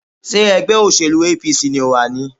Ṣé ẹgbẹ́ òsèlú APC ni o wà ni?